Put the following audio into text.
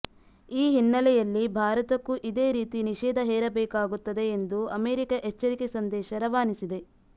ಈ ಹಿನ್ನೆಲೆಯಲ್ಲಿ ಭಾರತಕ್ಕೂ ಇದೇ ರೀತಿ ನಿಷೇಧ ಹೇರಬೇಕಾಗುತ್ತದೆ ಎಂದು ಅಮೆರಿಕ ಎಚ್ಚರಿಕೆ ಸಂದೇಶ ರವಾನಿಸಿದೆ